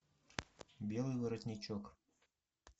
белый воротничок